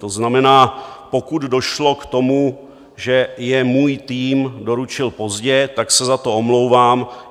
To znamená, pokud došlo k tomu, že je můj tým doručil pozdě, tak se za to omlouvám.